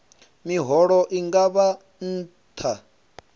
miholo i nga vha nṱha